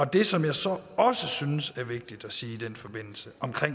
det som jeg så også synes er vigtigt at sige i den forbindelse om